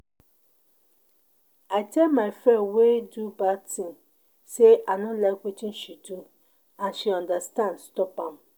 I tell my friend wey do bad thing say I no like wetin she do and she understand stop am